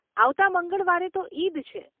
આવતાં મંગળવારે તો ઈદ છે.